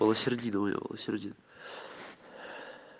валосердин у него валосердин